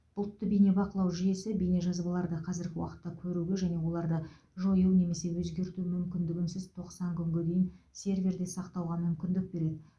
бұлтты бейнебақылау жүйесі бейнежазабаларды қазіргі уақытта көруге және оларды жою немесе өзгерту мүмкіндігінсіз тоқсан күнге дейін серверде сақтауға мүмкіндік береді